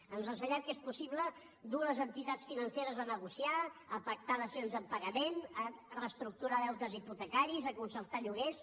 ens ha ensenyat que és possible dur les entitats financeres a negociar a pactar dacions en pagament a reestructurar deutes hipotecaris a concertar lloguers